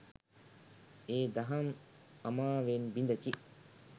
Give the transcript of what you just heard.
ඒ දහම් අමාවෙන් බිඳකි.